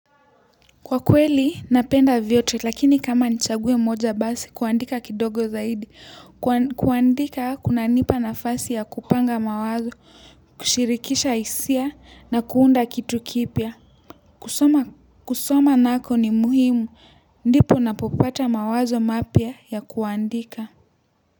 Kwa kweli, napenda vyote lakini kama nichague moja basi kuandika kidogo, kuandika kunanipa nafasi ya kupanga mawazo, kushirikisha hisia na kuunda kitu kipya. Kusoma kusoma nako ni muhimu ndipo napopata mawazo mapya ya kuandika.